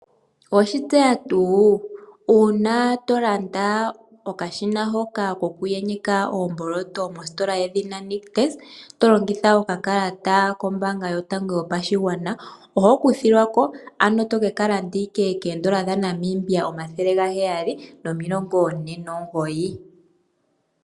Oweshitseya tuu uuna tolanda okashina koku yenyeka oomboloto mositola yedhina Nictus tolongitha okakalata kombaanga yotango pashigwana, ano oho kuthilwa ko toke ka landa ko$749.